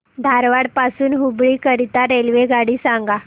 धारवाड पासून हुबळी करीता रेल्वेगाडी सांगा